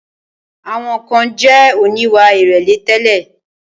Àwọn kan jẹ̀ oníwà ìrẹ̀lẹ̀ tẹ́lẹ̀.